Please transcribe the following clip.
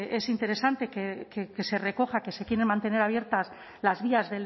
es interesante que se recoja que se quieran mantener abiertas las vías